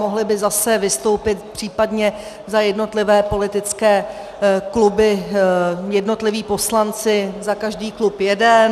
Mohli by zase vystoupit případně za jednotlivé politické kluby jednotliví poslanci, za každý klub jeden.